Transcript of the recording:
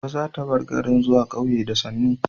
Gobe za ta bar garin zuwa ƙauye da sannu